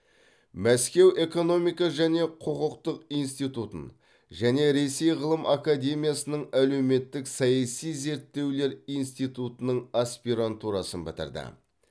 мәскеу экономика және құқықтық институтын және ресей ғылым академиясының әлеуметтік саяси зерттеулер институтының аспирантурасын бітірді